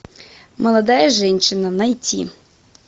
молодая женщина найти